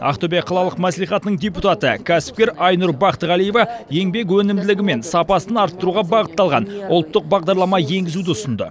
ақтөбе қалалық мәслихатының депутаты кәсіпкер айнұр бақтығалиева еңбек өнімділігі мен сапасын арттыруға бағытталған ұлттық бағдарлама енгізуді ұсынды